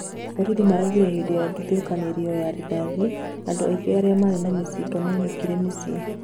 Borithi maraugire hĩndĩ ya ndathũkanĩrio ya rithathi, andũ aingĩ aria marĩ na mĩcinga mainũkire mĩciĩ.